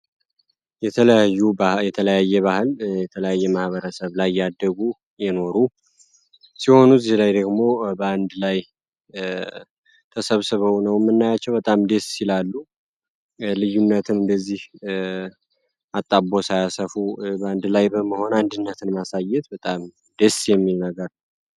የተለያየ ባህል የተለያየ ማህበረሰብ ላይ ያደጉ የኖሩ ሲሆኑ ዚህ ላይ ደግሞ በአንድ ላይ ተሰብስበው ነውምናያቸው። በጣም ደስ ይላሉ። ልዩነትን እንደዚህ አጣቦ ሳያሰፉ በአንድ ላይ በመሆን አንድነትን ማሳየት በጣም ደስ የሚል ነገር ነው።